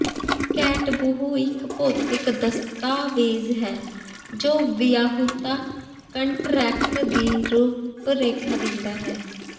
ketubah ਇਕ ਭੌਤਿਕ ਦਸਤਾਵੇਜ਼ ਹੈ ਜੋ ਵਿਆਹੁਤਾ ਕੰਟਰੈਕਟ ਦੀ ਰੂਪਰੇਖਾ ਦਿੰਦਾ ਹੈ